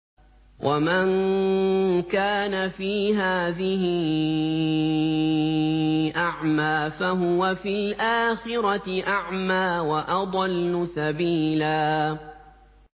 وَمَن كَانَ فِي هَٰذِهِ أَعْمَىٰ فَهُوَ فِي الْآخِرَةِ أَعْمَىٰ وَأَضَلُّ سَبِيلًا